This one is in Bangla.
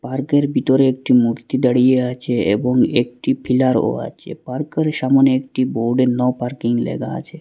পার্কের বিতরে একটি মূর্তি দাঁড়িয়ে আছে এবং একটি ফিলারও আছে পার্কের সামোনে একটি বোর্ডে নো পার্কিং লেখা আছে।